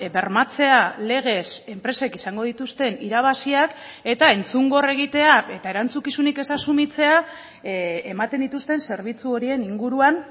bermatzea legez enpresek izango dituzten irabaziak eta entzungor egitea eta erantzukizunik ez asumitzea ematen dituzten zerbitzu horien inguruan